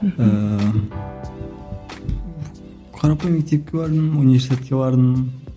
мхм ііі қарапайым мектепке бардым университетке бардым